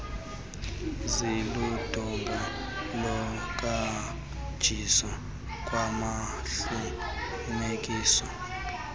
ziludonga lohanjiso kwabahluphekileyo